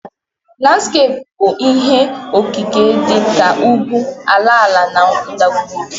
Landskeepu bụ ihé okike dị ka ugwu, ala ala na ndagwurugwu